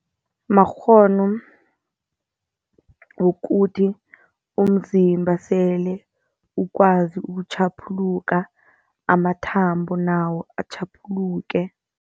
Makghono wokuthi umzimba sele ukwazi ukutjhaphuluka, amathambo nawo atjhaphuluke.